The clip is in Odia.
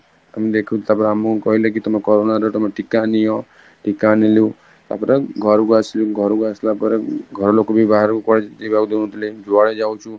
ଆମେ ଦେଖୁଛୁ ତାପରେ ଆମକୁ କହିଲେ କି ତମେ corona ର ଟୀକା ନିଅ, ଟୀକା ନେଲୁ ତାପରେ ଘରକୁ ଆସିଲୁ, ଘରକୁ ଆସିଲା ପରେ ଘର ଲୋକ ବି ବାହାରକୁ କୁଆଡେ ଯିବାକୁ ଦଉନଥିଲେ ଯୁଆଡେ ଯାଉଛୁ